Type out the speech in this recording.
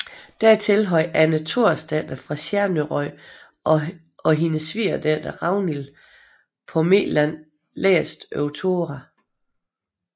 Dertil havde Anne Torsdatter fra Sjernarøy og hennes svigerdatter Ragnhild på Meland læst over Tora